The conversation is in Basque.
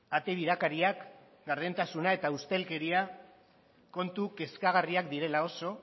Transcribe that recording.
ate birakariak gardentasuna eta ustelkeria kontu kezkagarriak direla oso